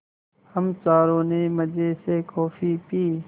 हम चारों ने मज़े से कॉफ़ी पी